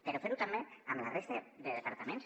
però fer ho també amb la resta de departaments